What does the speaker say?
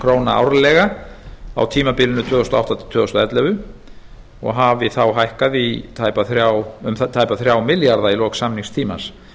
króna árlega á tímabilinu tvö þúsund og átta til tvö þúsund og ellefu og hafi þá hækkað um tæpa þrjá milljarða í lok samningstímans